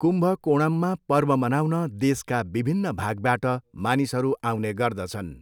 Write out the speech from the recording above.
कुम्भकोणममा पर्व मनाउन देशका विभिन्न भागबाट मानिसहरू आउने गर्दछन्।